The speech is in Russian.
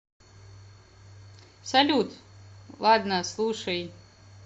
салют ладно слушай